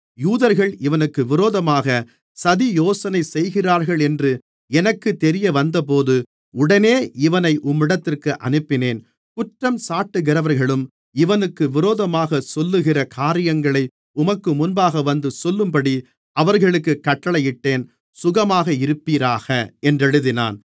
யூதர்கள் இவனுக்கு விரோதமாக சதியோசனை செய்கிறார்களென்று எனக்குத் தெரியவந்தபோது உடனே இவனை உம்மிடத்திற்கு அனுப்பினேன் குற்றஞ்சாட்டுகிறவர்களும் இவனுக்கு விரோதமாகச் சொல்லுகிற காரியங்களை உமக்கு முன்பாக வந்து சொல்லும்படி அவர்களுக்குக் கட்டளையிட்டேன் சுகமாக இருப்பீராக என்றெழுதினான்